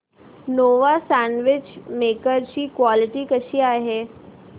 Nova sandwich maker ची quality कशी आहे